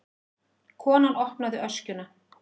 Konan opnaði öskjuna.